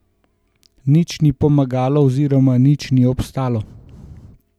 Nič ni pomagalo oziroma nič ni obstalo.